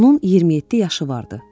Onun 27 yaşı vardı.